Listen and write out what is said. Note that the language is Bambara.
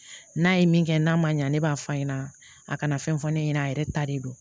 N'a ye min kɛ n'a ma ɲa ne b'a fɔ a ɲɛna a kana fɛn fɔ ne ɲɛna a yɛrɛ ta de don